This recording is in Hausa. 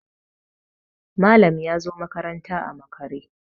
Malam ya zo makaranta a makare